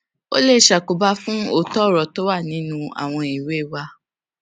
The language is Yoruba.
ó lè ṣàkóbá fún òótó òrò tó wà nínú àwọn ìwé wa